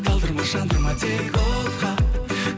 талдырма жандырма тек отқа